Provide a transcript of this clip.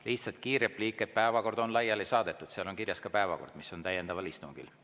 Lihtsalt kiire repliik: päevakord on laiali saadetud ja seal on kirjas ka, mis on täiendaval istungil.